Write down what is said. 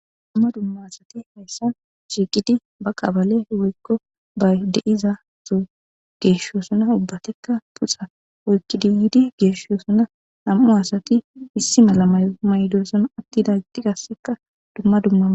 Dumma dumma asati haysan shiiqidi woyko ba qabale de'za Soho geeshosona ubbatika, nam'u asati issi mala mayo mayidosona ,atidageti qaseka dumma dumma...